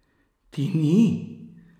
Ti ni?